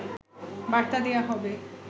বার্তা দেয়া হবে